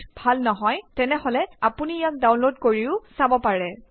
serial number নাম department আৰু salary হেডিংৰ অধীনত ইয়াক লিখক